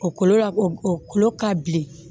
O kolo la o kolo ka bilen